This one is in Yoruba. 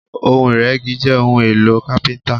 Ohun iregi jẹ́ ohun-èlò kapinta.